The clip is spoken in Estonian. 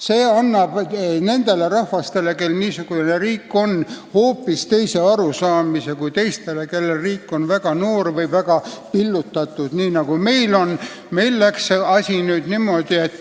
See annab nendele rahvastele, kellel niisugune riik on, hoopis teise arusaama, kui on nendel rahvastel, kelle riik on väga noor või väga pillutatud, nagu meie riik.